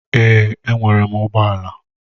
Èè, e nwere m ụgbọ ala.